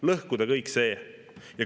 Lõhkuda kõik see.